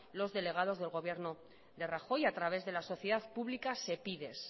los delegados del gobierno de rajoy a través de la sociedad pública sepides